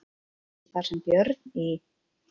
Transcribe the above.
Þar sem Björn í